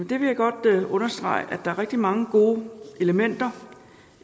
det vil jeg godt understrege at er rigtig mange gode elementer